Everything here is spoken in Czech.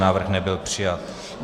Návrh nebyl přijat.